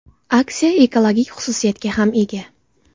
Aksiya ekologik xususiyatga ham ega.